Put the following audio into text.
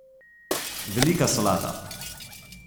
Velika solata.